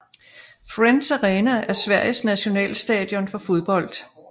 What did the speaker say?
Friends Arena er Sveriges nationalstadion for fodbold